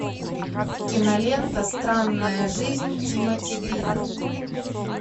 кинолента странная жизнь тимоти грина